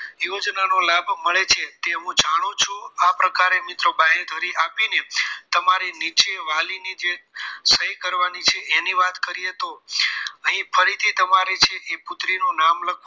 યોજના નો લાભ મળે છે તે હું જાણું છુ આ પ્રકારે મિત્રો બાહીધરી આપીને તમારે નીચે વાલીની સહી કરવાની છે એની વાત કરયે તો અહી ફરીથી તમારે જે પુત્રી નામ લખી